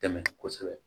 Tɛmɛ kosɛbɛ